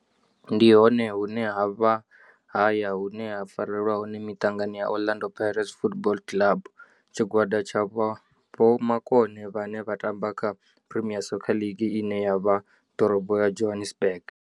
Ndi hone hune havha haya hune ha farelwa hone mitangano ya Orlando Pirates Football Club. Tshigwada tsha vhomakone vhane vha tamba kha Premier Soccer League ine ya vha ḓorobo ya Johannesburg.